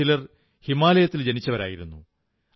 അവരിൽ ചിലർ ഹിമാലയത്തിൽ ജനിച്ചവരായിരുന്നു